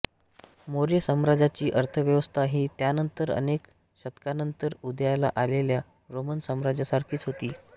मौर्य साम्राज्याची अर्थव्यवस्था ही त्यानंतर अनेक शतकांनंतर उदयाला आलेल्या रोमन साम्राज्यासारखीच होती